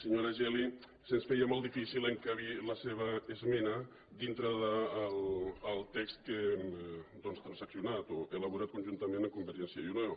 senyo·ra geli se’ns feia molt difícil encabir la seva esmena dintre del text que hem transaccionat o elaborat con·juntament amb convergència i unió